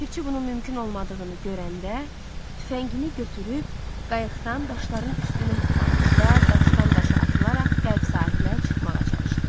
Ləpirçi bunun mümkün olmadığını görəndə tüfəngini götürüb qayıqdan daşların üstünə hoppandı və daşdan daşa atılaraq qərb sahilə çıxmağa çalışdı.